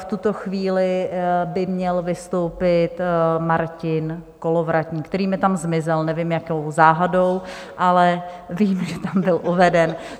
V tuto chvíli by měl vystoupit Martin Kolovratník, který mi tam zmizel, nevím, jakou záhadou, ale vím, že tam byl uveden.